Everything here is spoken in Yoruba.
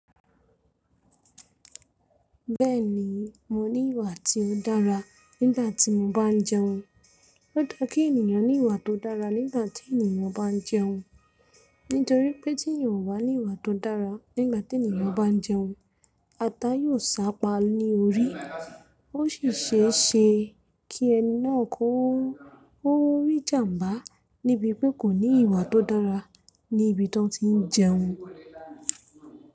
Bẹ́ẹ̀ni, mo ní ìwà tí ó dára nígbàtí mo bá ń jẹun. Ó dá kí ènìyàn ní ìwà tó dára nígbàtí ènìyàn bá ń jẹun. Nítorí pé tí ènìyàn o bá ní ìwà tó dára nígbàtí ènìyàn bá ń jẹun, ata yóò sápá ní orí. Ó sì ṣe é ṣe kí ẹni náà kó rí ìjàǹbá níbi pé kò ní ìwà tó dára ní ibi tí wọ́n ti ń jẹun.